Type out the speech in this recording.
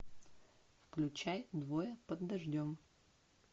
включай двое под дождем